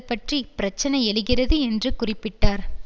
பற்றி பிரச்சனை எழுகிறது என்று குறிப்பிட்டார்